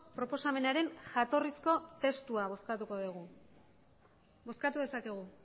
proposamenaren jatorrizko testua bozkatuko dugu bozkatu dezakegu